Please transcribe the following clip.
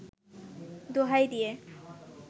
দোহাই দিয়ে